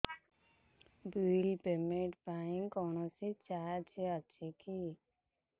bill payment ପାଇଁ କୌଣସି charge ଅଛି କି